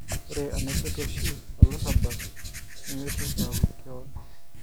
Ore enaipotu oshi olarabal nemaitoki aaku keon